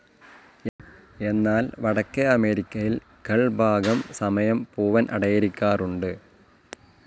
എന്നാൽ വടക്കെ അമേരിക്കയിൽ കൾ ഭാഗം സമയം പൂവൻ അടയിരിക്കാറുണ്ട്.